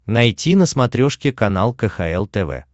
найти на смотрешке канал кхл тв